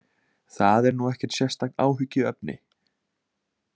Það er nú ekkert sérstakt áhyggjuefni